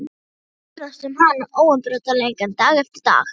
Maður verður að ferðast um hana, óumbreytanleikann, dag eftir dag.